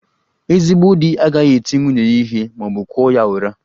Ezigbo di agaghị eti nwunye ya ihe ma ọ bụ kụọ ya ụra